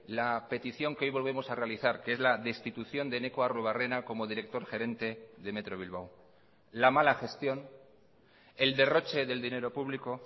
la petición que hoy volvemos a realizar que es la destitución de eneko arruebarrena como director gerente de metro bilbao la mala gestión el derroche del dinero público